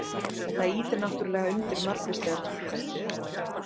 Þetta ýtir náttúrulega undir margvíslegar túlkanir.